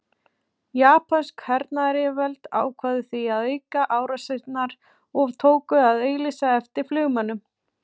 Japönsk hernaðaryfirvöld ákváðu því að auka árásirnar og tóku að auglýsa eftir flugmönnum.